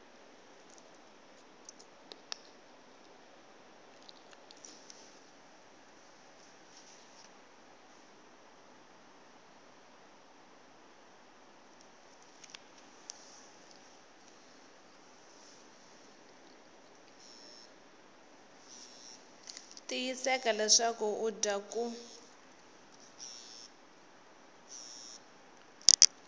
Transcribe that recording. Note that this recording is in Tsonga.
tiyiseka leswaku u dya ku